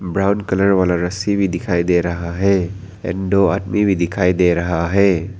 Brown colour वाला रस्सी भी दिखाई दे रहा है एण्ड दो आदमी भी दिखाई दे रहा है।